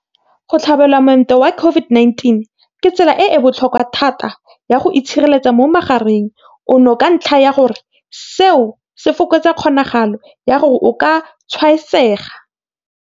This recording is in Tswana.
Go tlhabelwa moento wa COVID-19 ke tsela e e botlhokwa thata ya go itshireletsa mo mogareng ono ka ntlha ya gore seo se fokotsa kgonagalo ya gore o ka tshwaetsega.